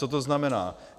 Co to znamená?